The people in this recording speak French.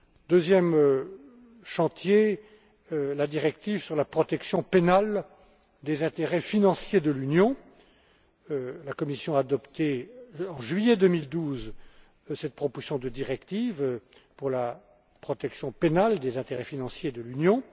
Deuxième chantier la directive sur la protection pénale des intérêts financiers de l'Union. La Commission a adopté, en juillet 2012, cette proposition de directive pour la protection pénale des intérêts financiers de l'Union.